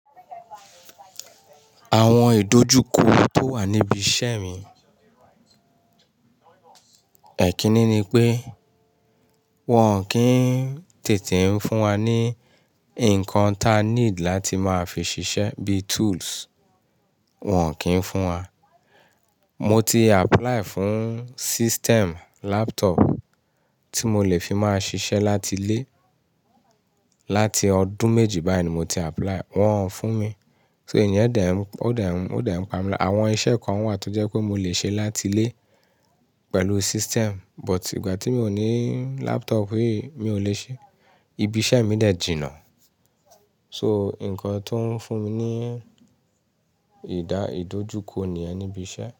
Àwọn ìdojúkọ tó wà níbi iṣẹ́ mi. Ẹ̀kínní ni pé, wọ́n ò kí ń tètè ń fún wa ní ǹkan ta need láti máa fi ṣiṣẹ́ bí túúls. Wọn ò kí ń fún wa. Mo ti apilai fún sisteẹ̀ẹ̀mu làpútọọpú tí mo lè fi máa ṣiṣẹ́ láti lé. Láti ọdún méjì báyìí ni mo ti apply, wọ́n ò fún mi. So ìyẹn o dẹ̀ ń pa mi lá. Àwọn iṣẹ́ kan wà tó jẹ́ pé mo lè ṣe láti lé pẹ̀lú sistẹẹmú but ìgbà tí mo ní làpútọọpú yìí mi ò lè ṣe. Ibi iṣẹ́ mi dẹ̀ jìnà. So ǹkan tó ń fún mi ní ìdá ìdojúkọ ni ẹni ibi iṣẹ́